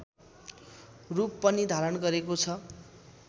रूप पनि धारण गरेको छ